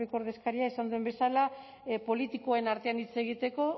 ppko ordezkariak esan duen bezala politikoen artean hitz egiteko